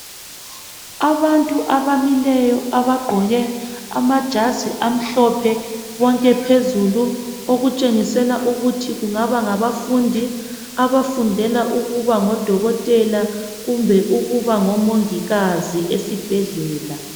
Abantu abamileyo abagqoke amajazi amhlophe bonke phezulu okutshengisela ukuthi kungaba ngabafundi abafundela ukuba ngodokotela kumbe ukuba ngomongikazi esibhedlela